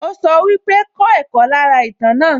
Ó sọ pé wípé, 'kọ́ ẹ̀kọ́ lára ìtàn náà'